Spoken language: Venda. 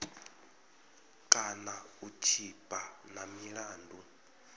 kana u tshipa na milandu